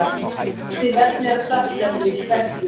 Önnur slík efni eru plastefni úr sterkju.